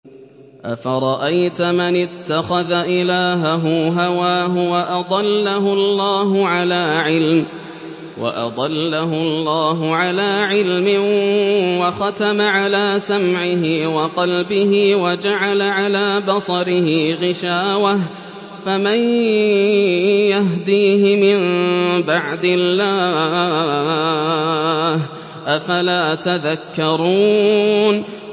أَفَرَأَيْتَ مَنِ اتَّخَذَ إِلَٰهَهُ هَوَاهُ وَأَضَلَّهُ اللَّهُ عَلَىٰ عِلْمٍ وَخَتَمَ عَلَىٰ سَمْعِهِ وَقَلْبِهِ وَجَعَلَ عَلَىٰ بَصَرِهِ غِشَاوَةً فَمَن يَهْدِيهِ مِن بَعْدِ اللَّهِ ۚ أَفَلَا تَذَكَّرُونَ